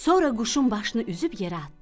Sonra quşun başını üzüb yerə atdı.